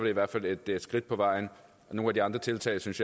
i hvert fald være et skridt på vejen nogle af de andre tiltag synes